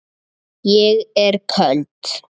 Ég er köld.